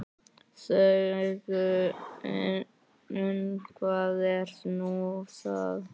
Þöggun, hvað er nú það?